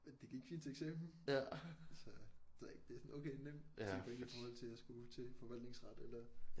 Men det gik fint til eksamen så det ved jeg ikke det er sådan okay nemt 10 point i forhold til at skulle til forvaltningsret eller